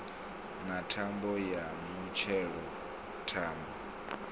na thambo ya mutshelo thambo